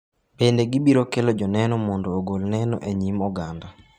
Bende gibiro kelo joneno mondo ogol neno e nyim oganda.